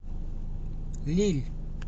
лилль